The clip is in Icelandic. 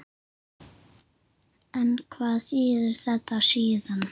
En hvað þýðir þetta síðan?